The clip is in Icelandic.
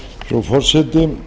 frú forseti